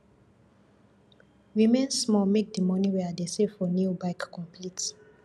remain small make the money wey i dey save for new bike complete